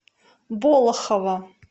болохово